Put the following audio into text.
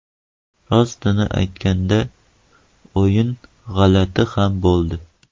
Rostini aytganda, o‘yin g‘alati ham bo‘ldi.